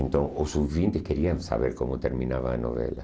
Então, os ouvintes queriam saber como terminava a novela.